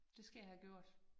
Det skal jeg have gjort